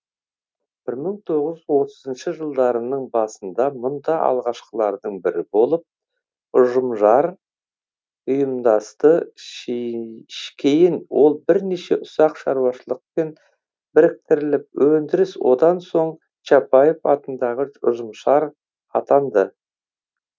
бір мың тоғыз жүз отызыншы жылдарының басында мұнда алғашқылардың бірі болып ұжымшар ұйымдасты кейін ол бірнеше ұсақ шаруашылықпен біріктіріліп өндіріс одан соң чапаев атындағы ұжымшар атанды